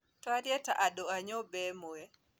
tũarie ta andũ a nyũmba ĩmwe.